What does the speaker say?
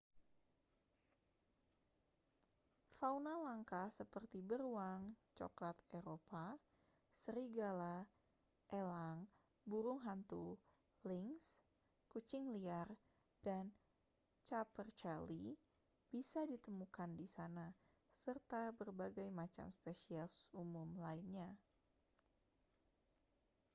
fauna langka seperti beruang cokelat eropa serigala elang burung hantu lynx kucing liar dan capercaillie bisa ditemukan di sana serta berbagai macam spesies umum lainnya